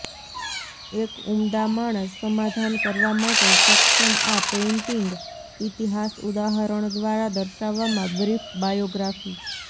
એક ઉમદા માણસ સમાધાન કરવા માટે સક્ષમ આ પેઇન્ટિંગ ઇતિહાસ ઉદાહરણ દ્વારા દર્શાવવામાં બ્રીફ બાયોગ્રાફી